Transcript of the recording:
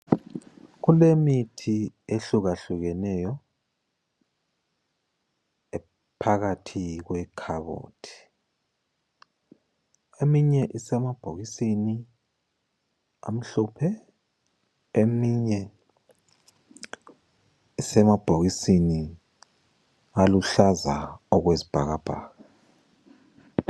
Kulemithi ehlukahlukeneyo phakathi kwekhabothi. Eminye isemabhokisini amhlophe, eminye isemabhokisini aluhlaza okwezibhakabhaka.